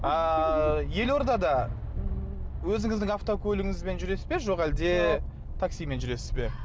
ааа елордада өзіңіздің автокөлігіңізбен жүресіз бе жоқ әлде таксимен жүресіз бе